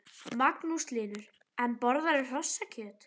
Magnús Hlynur: En borðarðu hrossakjöt?